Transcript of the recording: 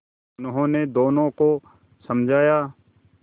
उन्होंने दोनों को समझाया